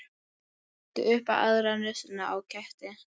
Ekki upp í aðra nösina á ketti.